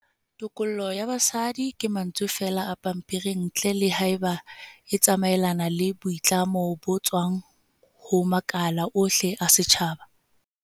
Tokollo ya basadi ke mantswe feela a pampering ntle le haeba e tsamaelana le boitlamo bo tswang ho makala ohle a setjhaba.